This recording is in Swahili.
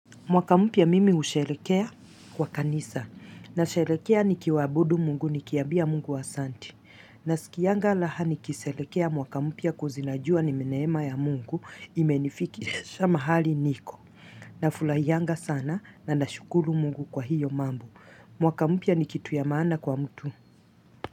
Mwaka mpya mimi husherehekea kwa kanisa. Na sherehekea nikiabudu mungu nikiambia mungu asante. Nasikianga raha nikisherehekea mwaka mpya course najua ni neema ya mungu imenifikisha mahali niko. Na furahianga sana na nashukuru mungu kwa hiyo mambo mwaka mpya ni kitu ya maana kwa mtu.